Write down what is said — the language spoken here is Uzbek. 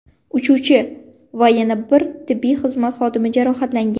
Uchuvchi va yana bir tibbiy xizmat xodimi jarohatlangan.